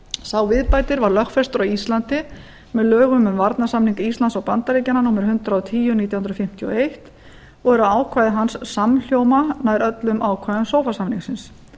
sá viðbætir var lögfestur á íslandi með lögum um varnarsamning íslands og bandaríkjanna númer hundrað og tíu nítján hundruð fimmtíu og eins og eru ákvæði hans samhljóma nær öllum ákvæðum sofa samningsins